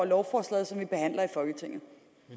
lovforslag